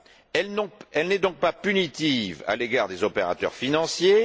Elle n'est donc pas punitive à l'égard des opérateurs financiers.